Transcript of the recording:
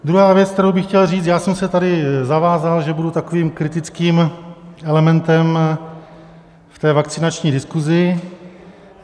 Druhá věc, kterou bych chtěl říct, já jsem se tady zavázal, že budu takovým kritickým elementem v té vakcinační diskusi.